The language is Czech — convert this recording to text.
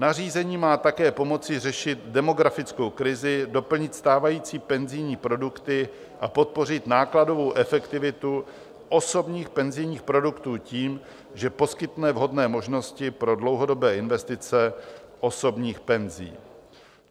Nařízení má také pomoci řešit demografickou krizi, doplnit stávající penzijní produkty a podpořit nákladovou efektivitu osobních penzijních produktů tím, že poskytne vhodné možnosti pro dlouhodobé investice osobních penzí.